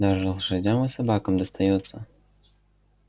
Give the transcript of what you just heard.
даже лошадям и собакам достаётся